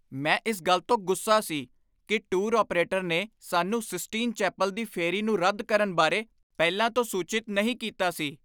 ਮੈਂ ਇਸ ਗੱਲ ਤੋਂ ਗੁੱਸਾ ਸੀ ਕਿ ਟੂਰ ਆਪਰੇਟਰ ਨੇ ਸਾਨੂੰ ਸਿਸਟੀਨ ਚੈਪਲ ਦੀ ਫੇਰੀ ਨੂੰ ਰੱਦ ਕਰਨ ਬਾਰੇ ਪਹਿਲਾਂ ਤੋਂ ਸੂਚਿਤ ਨਹੀਂ ਕੀਤਾ ਸੀ।